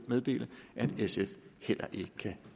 meddele at sf heller ikke kan